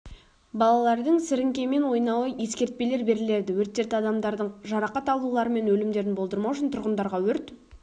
балалардың сіріңкемен ойнауы ескертпелер беріледі өрттерді адамдардың жарақат алулары мен өлімдерін болдырмау үшін тұрғындарға өрт